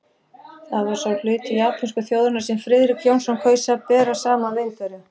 Það var sá hluti japönsku þjóðarinnar, sem Friðrik Jónsson kaus að bera saman við Indverja.